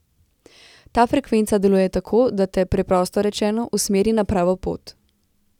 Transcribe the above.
Ta frekvenca deluje tako, da te, preprosto rečeno, usmeri na pravo pot.